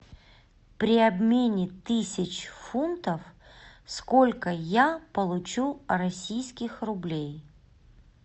при обмене тысяч фунтов сколько я получу российских рублей